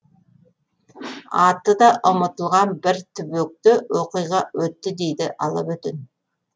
аты да ұмытылған бір түбекте оқиға өтті дейді алабөтен